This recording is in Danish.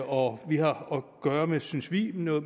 og vi har at gøre med synes vi noget